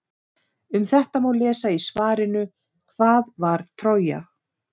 Um þetta má lesa í svarinu Hvað var Trója?